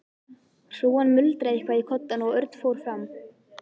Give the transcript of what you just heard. Hrúgan muldraði eitthvað í koddann og Örn fór fram.